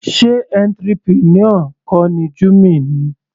Sé entrepreneur kọ ni Jummy ni.